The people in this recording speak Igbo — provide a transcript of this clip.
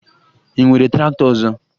Ị nwere traktọ ọzọ?